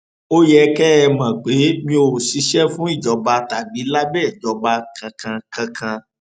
ó yẹ kẹ ẹ mọ pé mi ò ṣiṣẹ fún ìjọba tàbí lábẹ ìjọba kankan kankan